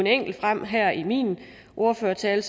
enkelt frem her i min ordførertale